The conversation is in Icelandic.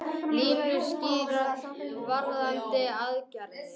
Línur skýrast varðandi aðgerðir